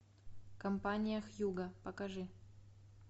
компания хьюго покажи